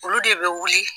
Olu de bɛ wuli